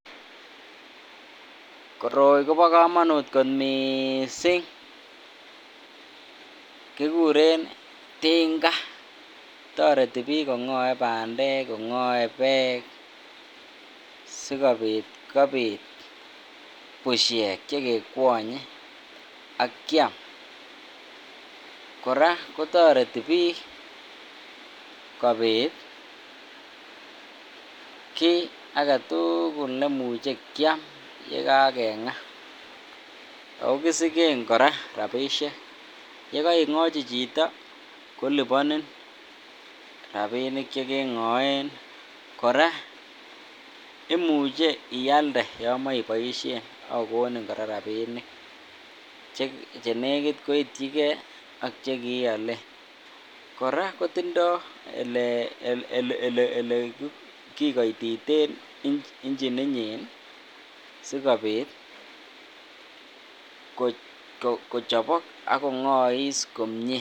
Koroi kobokomonut kot mising, kikuren tinga, toreti biik kong'oe bandek ko ng'oe beek sikobit kobit bushek chekekwonye ak Kiam, kora kotoreti biik kobit kii aketukul neimuche kiam yekakeng'a, okisiken kora rabishek, yekoing'ochi chito koliponin rabinik chekeng'oen kora imuche ialde yomoiboishen ak kokonin kora rabinik chenekit koityike ak chekiiolen, kora kotindo elekikoititen ingininyin sikobit kochopok ak kongois komie.